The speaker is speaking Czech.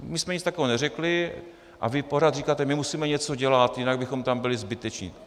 My jsme nic takového neřekli a vy pořád říkáte: my musíme něco dělat, jinak bychom tam byli zbyteční.